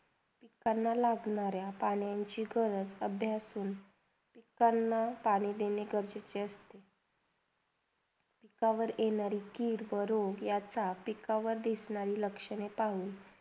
त्यांना लागणाऱ्या पण्यंची गरज अभ्यासून त्यांना पाणी देणे गरजेचे असते त्यावरयेणाऱ्या किड -पडुयाचा एकावर दिसणाऱ्या लक्ष्या पाहून.